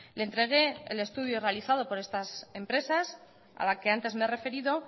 le entregué el estudio realizado por estas empresas a las que antes me he referido